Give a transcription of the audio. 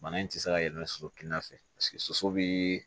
Bana in ti se ka yɛlɛ soso kinna fɛ paseke so bi